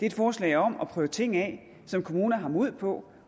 et forslag om at prøve ting af som kommuner har mod på